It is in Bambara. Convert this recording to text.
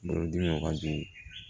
Bolodimi ka jugu